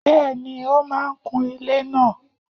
Bẹ́ẹ̀ni, ó máà ń kun ilẹ́ náà